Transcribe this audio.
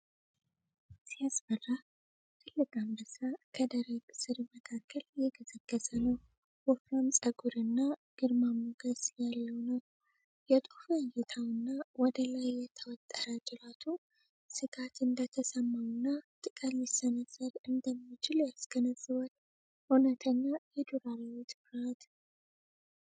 ሲያስፈራ! ትልቅ አንበሳ ከደረቅ ሣር መካከል እየገሰገሰ ነው። ወፍራም ፀጉርና ግርማ ሞገስ ያለው ነው። የጦፈ እይታው እና ወደ ላይ የተወጠረ ጅራቱ ስጋት እንደተሰማውና ጥቃት ሊሰነዝር እንደሚችል ያስገነዝባል ። እውነተኛ የዱር አራዊት ፍርሃት!!።